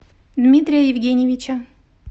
дмитрия евгеньевича